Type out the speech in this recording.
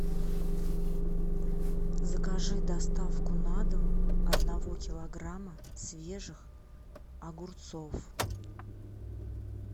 закажи доставку на дом одного килограмма свежих огурцов